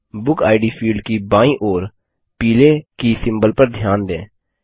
बुकिड field की बायीं ओर पीले की सिम्बल पर ध्यान दें